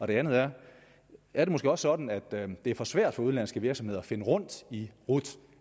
det andet er er det måske også sådan at det er for svært for udenlandske virksomheder at finde rundt i rut